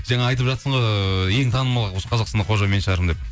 жаңа айтып жатсың ғой ыыы ең танымал осы қазақстанда қожа мен шығармын деп